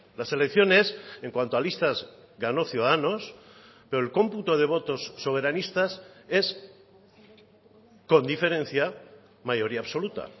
las elecciones en cuanto a listas ganó ciudadanos pero el cómputo de votos soberanistas es con diferencia mayoría absoluta